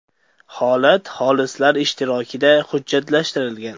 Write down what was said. Holat xolislar ishtirokida hujjatlashtirilgan.